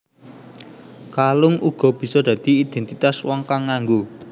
Kalung uga bisa dadi idéntitas wong kang nganggo